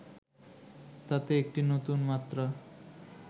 তাতে একটি নতুন মাত্রা